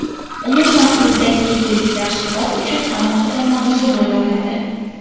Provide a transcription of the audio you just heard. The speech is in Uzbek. Umuman bizdagi yeguliklar suhbat uchun alohida mavzu bo‘la oladi.